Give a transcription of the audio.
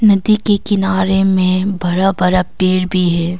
नदी के किनारे में बरा बरा पेर भी है।